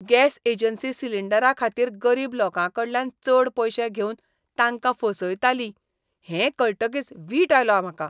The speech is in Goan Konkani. गॅस एजन्सी सिलींडराखातीर गरीब लोकांकांकडल्यान चड पयशे घेवन तांकां फसयताली हें कळटकीच वीट आयलो म्हाका.